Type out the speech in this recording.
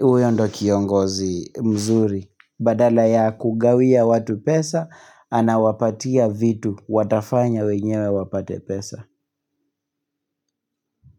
Huyo ndio kiongozi mzuri. Badala ya kugawia watu pesa, anawapatia vitu. Watafanya wenyewe wapate pesa.